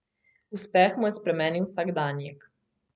Uspeh mu je spremenil vsakdanjik.